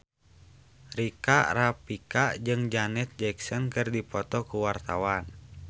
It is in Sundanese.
Rika Rafika jeung Janet Jackson keur dipoto ku wartawan